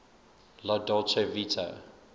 la dolce vita